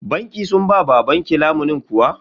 Bankin sun ba babanki lamunin kuwa?